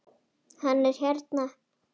Hann er hérna